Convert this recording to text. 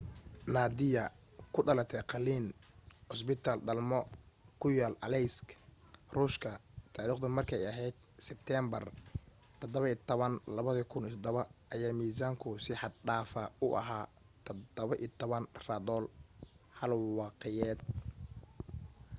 nadia oo ku dhalatay qalliin cusbitaal dhalmo oo ku yaal aleisk ruushka taariikhdu markay ahayd sibteenbar 17 2007 ayaa miisaanku si xad dhaafa u ahaa 17 rodol 1 wiqiyadeed